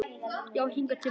Já hingað til mín.